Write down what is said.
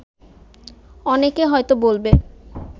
অনেকে হয়ত বলবে